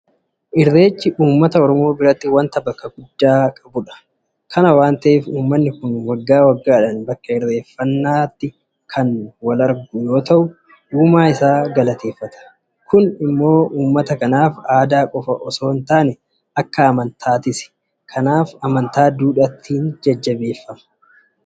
Irreechi uummata Oromoo biratti waanta bakka guddaa qabudha. Kana waanta ta'eef uummanni kun waggaa waggaadhaan bakka irreeffannaa kanatti argamuudhaan uumaa isaa galateeffata. Kun immoo uummata kanaaf aadaa qofa itoo hintaane amantaadha. Kanaaf amantaa duudhaatiin jajjabeeffama.